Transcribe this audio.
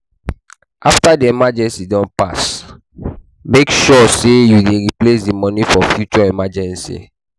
After di emeegency don pass, make sure sey you replace di money for future emergency